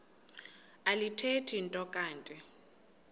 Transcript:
alithethi nto kanti